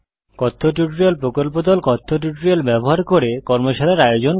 কথ্য টিউটোরিয়াল প্রকল্প দল কথ্য টিউটোরিয়াল ব্যবহার করে কর্মশালার আয়োজন করে